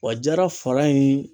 Wa jara fara in